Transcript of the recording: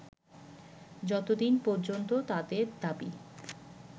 যতদিন পর্যন্ত তাদের দাবি